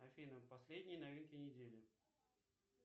афина последние новинки недели